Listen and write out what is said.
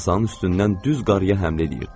Masanın üstündən düz qarıya həmlə edirdilər.